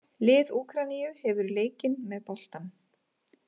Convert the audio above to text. Lið Úkraínu hefur leikinn með boltann